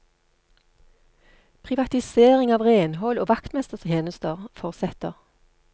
Privatisering av renhold og vaktmestertjenester fortsetter.